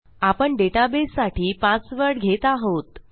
आपण डेटाबेससाठी पासवर्ड घेत आहोत